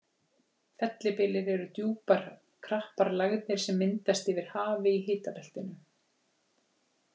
Fellibyljir eru djúpar og krappar lægðir sem myndast yfir hafi í hitabeltinu.